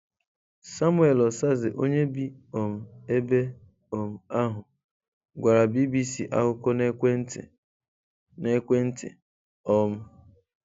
Samuel Osaze onye bi um ebe um ahụ gwara BBC akụkọ na ekwentị. na ekwentị. um